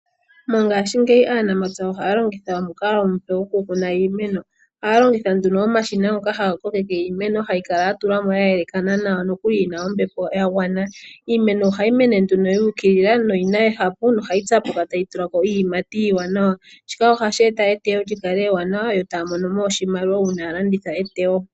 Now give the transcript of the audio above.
Mongaashingeyi aanamapya ohaya longitha omukalo omupe goku kuna iimeno. Ohaya longitha nduno omashina ngoka haga kokeke iimeno hayi kala ya tulwamo ya elekana nawa nokuli yina ombepo ya gwana. Iimeno ohayi mene nduno yuukilila noyina ehapu nohayi tsapuka tayi endelele. Noku ima iiyimati iiwanawa. Shika ohashi eta etewo ewanawa yo taya mono mo oshimaliwa uuna ya landitha etewo.